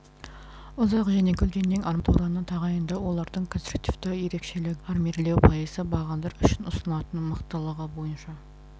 ұзақ және көлденең арматураны тағайындау олардың конструктивті ерекшелігі бағандарды армирлеу пайызы бағандар үшін ұсынылатын мықтылығы бойынша